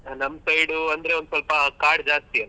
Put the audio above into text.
ನಮ್ side ಅಂದ್ರೆ ಒಂದ್ ಸ್ವಲ್ಪ ಕಾಡ್ ಜಾಸ್ತಿ ಅಲ.